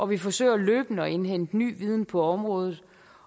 vi forsøger løbende at indhente ny viden på området